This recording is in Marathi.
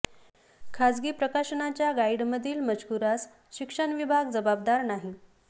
खासगी प्रकाशनाच्या गाइडमधील मजकुरास शिक्षण विभाग जबाबदार नाही